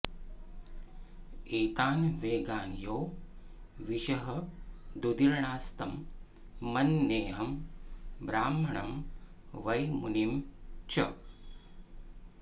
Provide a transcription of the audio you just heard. एतान् वेगान् यो विषहदुदीर्णांस्तं मन्येऽहं ब्राह्मणं वै मुनिं च